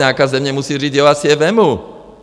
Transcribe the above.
Nějaká země musí říct: já si je vezmu.